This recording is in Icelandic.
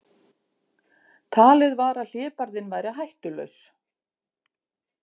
Talið var að hlébarðinn væri hættulaus